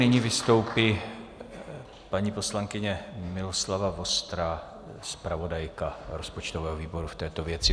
Nyní vystoupí paní poslankyně Miloslava Vostrá, zpravodajka rozpočtového výboru v této věci.